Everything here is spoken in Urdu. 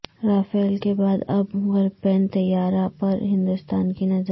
رافیل کے بعد اب گرپین طیارہ پر ہندوستان کی نظر